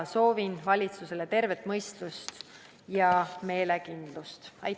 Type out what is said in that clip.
Soovin valitsusele tervet mõistust ja meelekindlust!